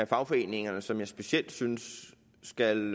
fagforeningerne som jeg specielt synes skal